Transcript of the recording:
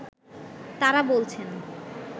তারা বলছেন